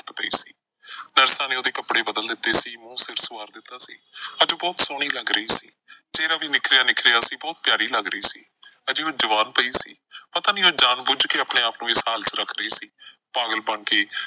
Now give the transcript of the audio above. ਨੇ ਉਹਦੇ ਕੱਪੜੇ ਬਦਲ ਦਿੱਤੇ ਸੀ ਮੂੰਹ ਸਿਰ ਸੁਆਰ ਦਿੱਤਾ ਸੀ। ਅੱਜ ਉਹ ਬਹੁਤ ਸੋਹਣੀ ਲੱਗ ਰਹੀ ਸੀ ਚਿਹਰਾ ਵੀ ਨਿਖਰਿਆ ਨਿਖਰਿਆ ਸੀ, ਬਹੁਤ ਪਿਆਰੀ ਲੱਗ ਰਹੀ ਸੀ। ਅਜੇ ਉਹ ਜਵਾਨ ਪਈ ਸੀ, ਪਤਾ ਨਈਂ ਉਹ ਜਾਣ ਬੁੱਝ ਕੇ ਆਪਣੇ ਆਪ ਨੂੰ ਇਸ ਹਾਲ ਚ ਰੱਖ ਰਹੀ ਸੀ ਪਾਗਲਪਣ ਚ ਈ।